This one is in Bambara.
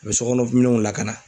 U bɛ sokɔnɔminɛnw lakana.